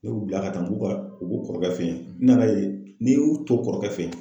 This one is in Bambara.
Ne y'u bila ka taa n k'u ka u kɔrɔkɛ fe yen n nana ye n'i y'u to kɔrɔkɛ fe yen